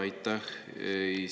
Aitäh!